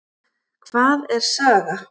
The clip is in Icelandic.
Hvað er saga?